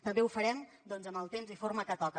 també ho farem en el temps i forma que toca